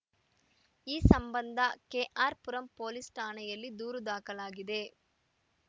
ಈ ಸಂಬಂಧ ಕೆಆರ್‌ಪುರಂ ಪೊಲೀಸ್‌ ಠಾಣೆಯಲ್ಲಿ ದೂರು ದಾಖಲಾಗಿದೆ